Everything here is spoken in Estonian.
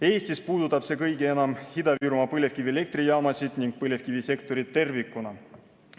Eestis puudutab see kõige enam Ida-Virumaa põlevkivielektrijaamasid ning põlevkivisektorit tervikuna.